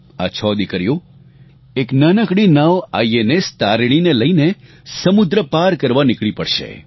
આ છ દિકરીઓ એક નાનકડી નાવ આઇએનએસ તારિણીને લઇને સમુદ્ર પાર કરવા નિકળી પડશે